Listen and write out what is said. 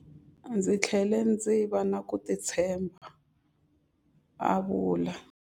Ndzi tlhele ndzi va na ku titshemba, a vula.